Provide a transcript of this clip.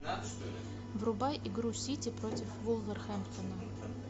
врубай игру сити против вулверхэмптона